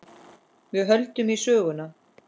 Við höldum í söguna.